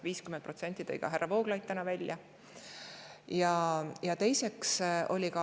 50%-list täna ka härra Vooglaid.